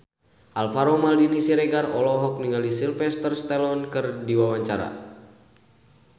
Alvaro Maldini Siregar olohok ningali Sylvester Stallone keur diwawancara